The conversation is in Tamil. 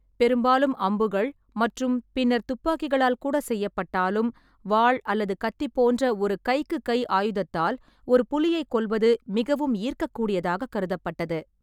பெரும்பாலும் அம்புகள் மற்றும் பின்னர் துப்பாக்கிகளால் கூட செய்யப்பட்டாலும், வாள் அல்லது கத்தி போன்ற ஒரு கை-க்கு-கை ஆயுதத்தால் ஒரு புலியைக் கொல்வது மிகவும் ஈர்க்கக்கூடியதாக கருதப்பட்டது.